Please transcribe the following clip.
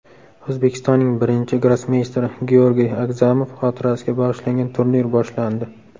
O‘zbekistonning birinchi grossmeysteri Georgiy Agzamov xotirasiga bag‘ishlangan turnir boshlandi.